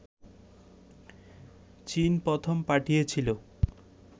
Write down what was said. চীন প্রথম পাঠিয়েছিলো